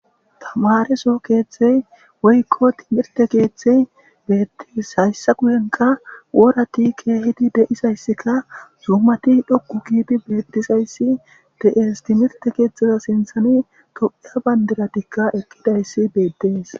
Tamareso keeththey woykko timirte keeththey beettes hayssa guyenkka woorati keehidi de7isayssikka zuumati dhoqqu giidi beettizayssi de'es timirte keeththeza sinththani tophphiya bandiratikka eqqidayssi beettees